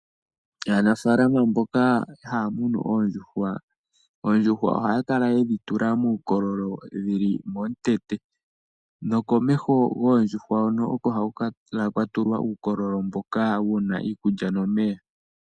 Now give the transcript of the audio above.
Aanafaalama mboka haya munu oondjuhwa, oondjuhwa ohaya kala yedhi tula muukololo dhili momukweyo nokomeho goondjuhwa hoka oko haku kala kwatulwa uukololo wu na iikulya nomeya.